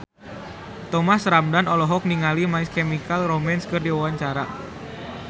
Thomas Ramdhan olohok ningali My Chemical Romance keur diwawancara